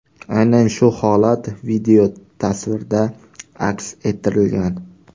Aynan shu holat videotasvirda aks ettirilgan.